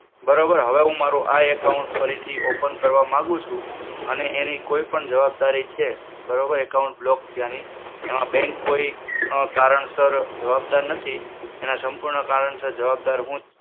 બરોબર, હવે હું મારુ આ account ફરી થી open કરવા માંગુ છું. અને એની કોઈ પણ જવાબદારી છે બરોબર account block થયા ની એમાં bank કોઈ અમ કારણસર જવાબદાર નથી. એના સંપૂર્ણ કારણસર જવાબદાર હું છું.